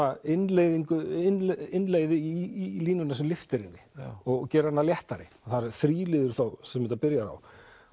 innleið innleið innleið í línuna sem lyftir henni og gerir hana léttari það er þá sem þetta byrjar á